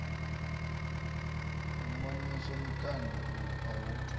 u mamisa mikando a hu